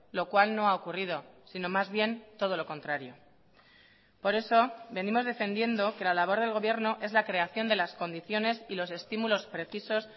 lo cual no ha ocurrido sino más bien todo lo contrario por eso venimos defendiendo que la labor del gobierno es la creación de las condiciones y los estímulos precisos